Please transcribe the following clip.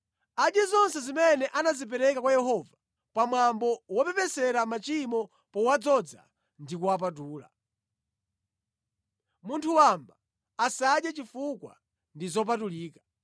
Adye zonse zimene anazipereka kwa Yehova pamwambo wopepesera machimo powadzoza ndi kuwapatula. Munthu wamba asadye chifukwa ndi zopatulika.